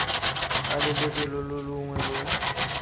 tlaleletso lo lo longwe lo